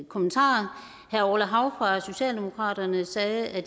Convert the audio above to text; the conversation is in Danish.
kommentarer herre orla hav fra socialdemokratiet sagde at